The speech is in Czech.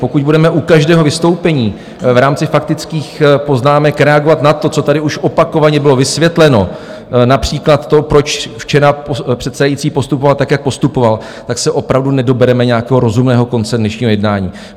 Pokud budeme u každého vystoupení v rámci faktických poznámek reagovat na to, co tady už opakovaně bylo vysvětleno, například to, proč včera předsedající postupoval tak, jak postupoval, tak se opravdu nedobereme nějakého rozumného konce dnešního jednání.